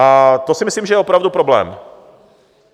A to si myslím, že je opravdu problém.